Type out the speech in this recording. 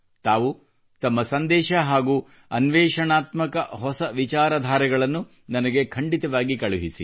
ತಾವು ತಮ್ಮ ಸಂದೇಶ ಹಾಗೂ ಅನ್ವೇಷಣಾತ್ಮಕ ಹೊಸ ವಿಚಾರಧಾರೆಗಳನ್ನು ನನಗೆ ಖಂಡಿತವಾಗಿ ಕಳಿಸಿ